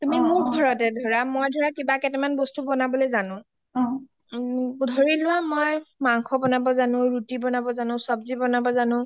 তুমি মোৰ ঘৰতে ধৰা মই ধৰা কিবা কেইটা মান বস্ত বনাবলে জানো ধৰিলোৱা মই মাংস বনাব জানো ৰুতি বনাব জনো চব্জি বনাব জানো